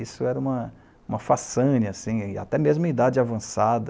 Isso era uma uma façane assim, até mesmo em idade avançada.